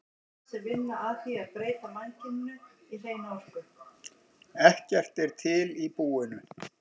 Ekkert er til í búinu.